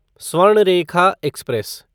Swarnarekha express